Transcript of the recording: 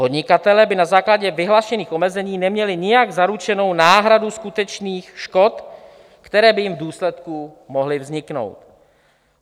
Podnikatelé by na základě vyhlášených omezení neměli nijak zaručenu náhradu skutečných škod, které by jim v důsledku mohly vzniknout.